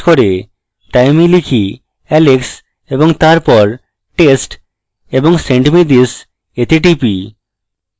তাই আমি লিখি alex এবং তারপর test এবং send me this এ click করি